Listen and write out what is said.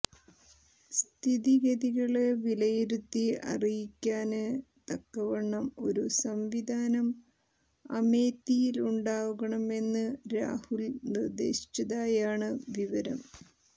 സ്ഥിതിഗതികള് വിലയിരുത്തി അറിയിക്കാന് തക്കവണ്ണം ഒരു സംവിധാനം അമേത്തിയിലുണ്ടാകണമെന്ന് രാഹുല് നിര്ദ്ദേശിച്ചതായാണ് വിവരം